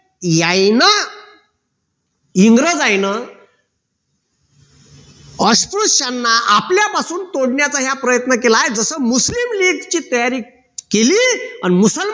यायन इंग्रजायन अस्पृश्याना आपल्या पासून तोडण्याचा ह्या प्रयत्न केलाय जस मुस्लिम लीग ची तयारी केली अन मुसलमान